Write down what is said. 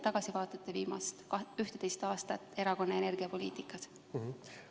Kuidas te vaatate tagasi viimasele 11 aastale erakonna energiapoliitikas?